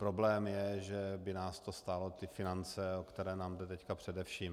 Problém je, že by nás to stálo ty finance, o které nám jde teď především.